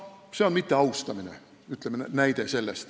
See on mitteaustamise näide.